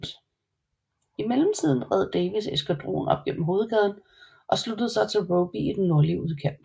I mellemtiden red Davies eskadron op gennem hovedgaden og sluttede sig til Robey i den nordlige udkant